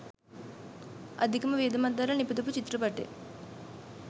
අධිකම වියදමක් දරලා නිපදවපු චිත්‍රපටිය.